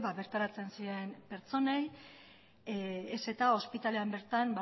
bertaratzen ziren pertsonei ez eta ospitalean bertan